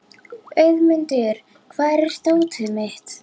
Auðmundur, hvar er dótið mitt?